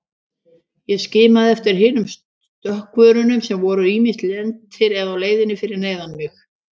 Ég skimaði eftir hinum stökkvurunum sem voru ýmist lentir eða á leiðinni fyrir neðan mig.